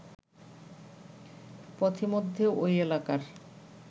পথিমধ্যে ওই এলাকার